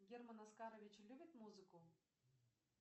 герман оскарович любит музыку